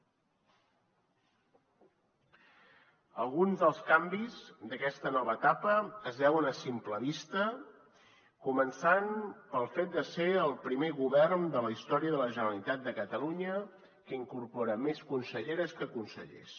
alguns dels canvis d’aquesta nova etapa es veuen a simple vista començant pel fet de ser el primer govern de la història de la generalitat de catalunya que incorpora més conselleres que consellers